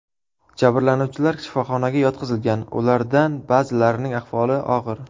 Jabrlanuvchilar shifoxonaga yotqizilgan, ulardan ba’zilarining ahvoli og‘ir.